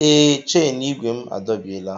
Ee, chen igwe m adọbiela.